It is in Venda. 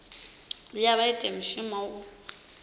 vhuya vha ita mushumo u